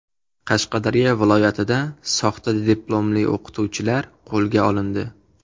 Qashqadaryo viloyatida soxta diplomli o‘qituvchilar qo‘lga olindi.